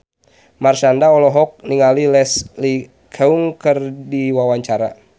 Marshanda olohok ningali Leslie Cheung keur diwawancara